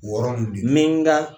min ga